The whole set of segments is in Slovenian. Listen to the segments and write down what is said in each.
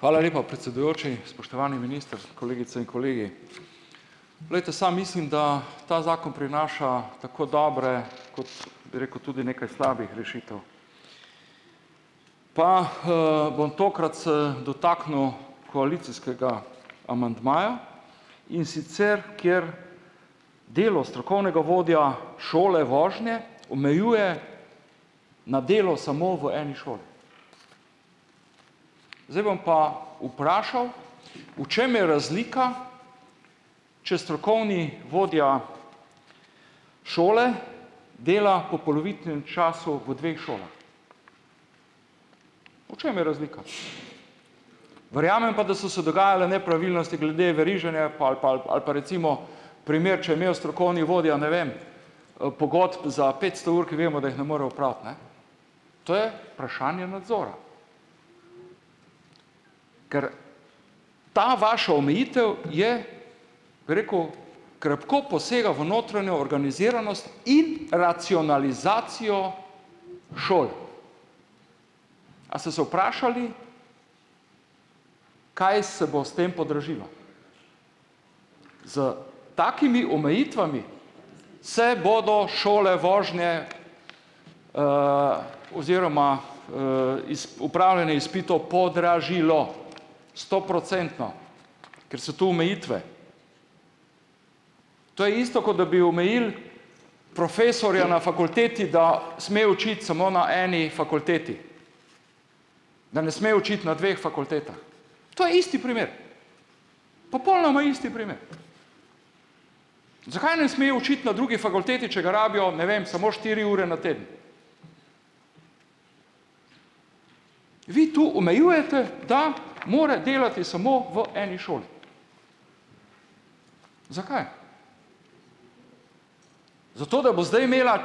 Hvala lepa, predsedujoči, spoštovani minister, kolegice in kolegi! Glejte, sam mislim, da ta zakon prinaša tako dobre kot, bi rekel, tudi nekaj slabih rešitev. Pa, bom tokrat se dotaknil koalicijskega amandmaja, in sicer kjer delo strokovnega vodja šole vožnje omejuje na delo samo v eni šoli. Zdaj bom pa vprašal, v čem je razlika, če strokovni vodja šole dela po polovičnem času v dveh šolah. V čem je razlika? Verjamem pa, da so se dogajale nepravilnosti glede veriženja pol pol ali pa recimo primer, če je imel strokovni vodja, ne vem, pogodb za petsto ur, ki vemo, da jih ne more opraviti, ne. To je vprašanje nadzora. Ker ta vaša omejitev je, bi rekel, krepko posega v notranjo organiziranost in racionalizacijo šol. A se se vprašali, kaj se bo s tem podražilo? S takimi omejitvami se bodo šole vožnje oziroma, izpitov podražile stoprocentno, ker so tu omejitve. To je isto, ko da bi omejili profesorja na fakulteti, da sme učiti smo na eni fakulteti. Da ne sme učiti na dveh fakultetah. To je isti primer. Popolnoma isti primer. Zakaj ne sme učiti na drugi fakulteti, če ga rabijo, ne vem, samo štiri ure na teden? Vi tu omejujete, da mora delati smo v eni šoli. Zakaj? Zato da bo zdaj imela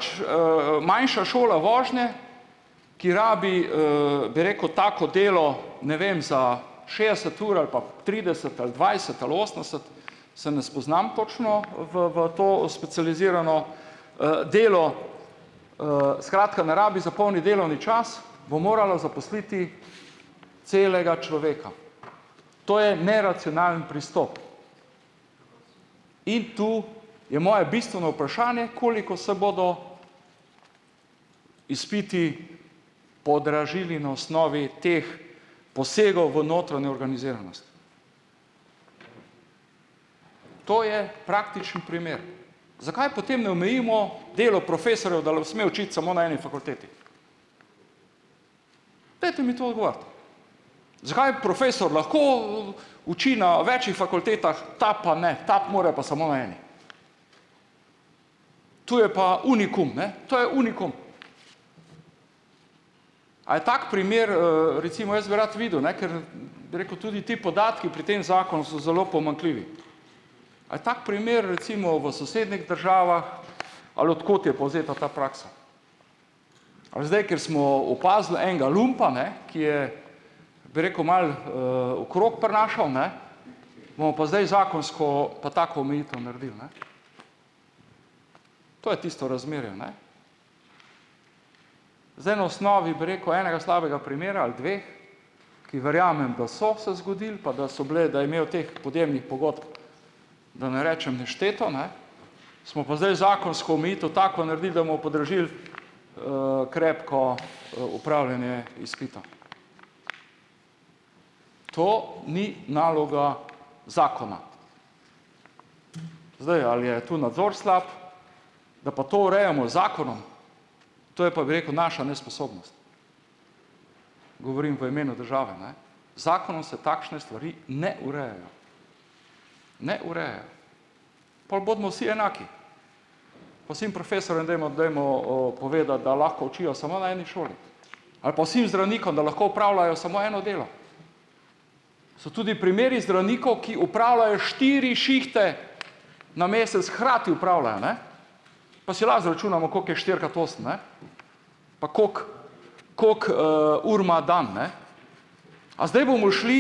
manjša šola vožnje, ki rabi, bi rekel, tako delo, ne vem, za šestdeset ur ali pa trideset ali dvajset ali osemdeset, se ne spoznam točno v v to specializirano, delo. Skratka, ne rabi za polni delovni čas, bo moralo zaposliti celega človeka. To je neracionalen pristop. In tu je moje bistveno vprašanje, koliko se bodo izpiti podražili na osnovi teh posegov v notranjo organiziranost. To je praktičen primer. Zakaj potem ne omejimo delo profesorjev, da sme učiti samo na eni fakulteti? Zakaj profesor lahko, uči na več fakultetah, ta pa ne, ta pa mora pa samo na eni. Tu je pa unikum ne, to je unikum. A je tak primer, recimo jaz bi rad videl, ne, ker bi rekel, tudi ti podatki pri tem zakonu so zelo pomanjkljivi. A je tak primer recimo v sosednjih državah ali od kot je povzeta ta praksa? Ali zdaj, ker smo opazili enega lumpa, ne, ki je, bi rekel, malo, okrog prinašal, ne, bomo pa zdaj zakonsko pa tako omejitev naredili, ne. To je tisto u razmerju, ne. Zdaj, na osnovi, bi rekel, enega slabega primera ali dveh, ki verjamem, da so se zgodili, pa da so bile, da je imel teh podjemnih pogodb, da ne rečem nešteto, ne, smo pa zdaj zakonsko omejitev tako naredili, da bomo podražili krepko, upravljanje izpita. To ni naloga zakona. Zdaj, ali je tu nadzor slab? Da pa to urejamo z zakonom, to je pa, bi rekel, naša nesposobnost. Govorim v imenu države, ne. Zakonu se takšne stvari ne urejajo. Ne urejajo. Pol bodimo vsi enaki, pa vsem profesorjem dajmo, dajmo, povedati, da lahko učijo samo na eni šoli, ali pa vsem zdravnikom, da lahko opravljajo samo eno delo. So tudi primeri zdravnikov, ki opravljajo štiri šihte na mesec hkrati opravljajo, ne. Pa si lahko izračunamo, koliko je štirikrat osem, ne, pa kako koliko, ur ima dan, ne. A zdaj bomo šli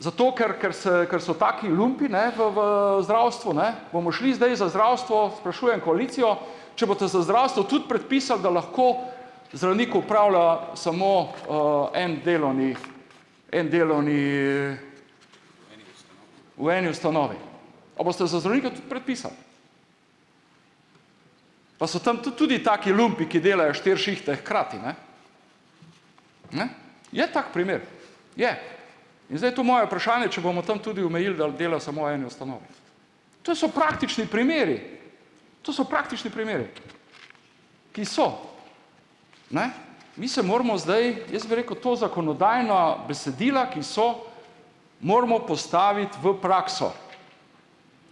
zato, ker ker se, kar so taki lumpi ne v v, zdravstvu, ne, bomo šli zdaj z zdravstvo, sprašujem koalicijo, če boste za zdravstvo tudi predpisali, da lahko zdravnik upravlja samo, en delovni, en delovni, v eni ustanovi. Pa so tam tudi taki lumpi, ki delajo štiri šihte hkrati, ne. Ne. Je tak primer, je. In zdaj tu moje vprašanje, če bomo tam tudi omejili, dela smo eni ustanovi. To so praktični primeri, to so praktični primeri, ki so, ne. Mi se moramo zdaj, jaz bi rekel, ta zakonodajna besedila, ki so, moramo postaviti v prakso,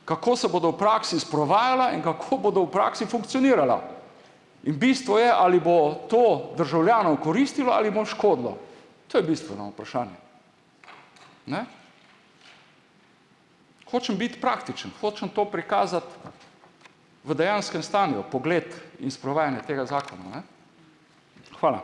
kako se bodo v praksi sprovajala in kako bodo v praksi funkcionirala. In bistvo je, ali bo to državljanom koristilo ali mu škodilo. To je bistveno vprašanje. Ne. Hočem biti praktičen, hočem to prikazati v dejanskem stanju pogled. Hvala.